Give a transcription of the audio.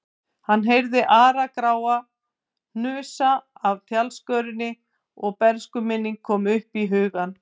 Hann heyrði Ara-Grána hnusa af tjaldskörinni og bernskuminning kom upp í hugann.